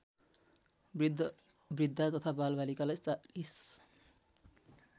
बृद्धबृद्धा तथा बालबालिकालाई ४०